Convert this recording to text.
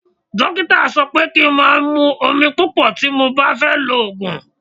Dókítà sọ pé kí n máa mú omi púpọ̀ tí mo bá fẹ́ lo òògùn.